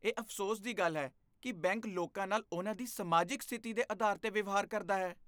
ਇਹ ਅਫ਼ਸੋਸ ਦੀ ਗੱਲ ਹੈ ਕਿ ਬੈਂਕ ਲੋਕਾਂ ਨਾਲ ਉਹਨਾਂ ਦੀ ਸਮਾਜਿਕ ਸਥਿਤੀ ਦੇ ਅਧਾਰ 'ਤੇ ਵਿਵਹਾਰ ਕਰਦਾ ਹੈ।